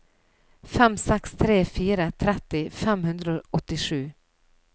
fem seks tre fire tretti fem hundre og åttisju